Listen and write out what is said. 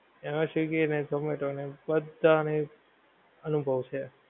એને swiggy નો zomato ને બધાં ને અનુભવ છે